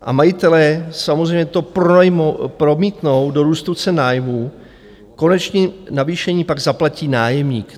A majitelé samozřejmě to promítnou do růstu cen nájmů, konečné navýšení pak zaplatí nájemník.